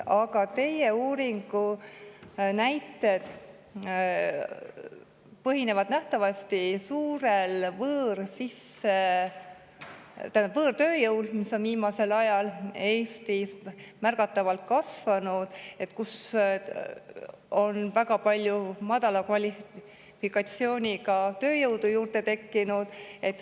Aga teie uuringu näited põhinevad nähtavasti suurel võõrtööjõul, mille on Eestis viimasel ajal märgatavalt kasvanud ja kelle hulka on väga palju madala kvalifikatsiooniga tööjõudu juurde tekkinud.